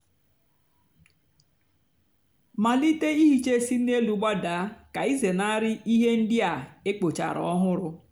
malite íhíchá sị n'élú gbadaa kà ịzénárí íhè ndị á ékpochara ọhụrụ.